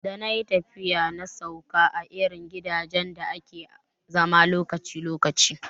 Da nayi tafiya na sauka a irin gidajen da ake zama lokaci lokaci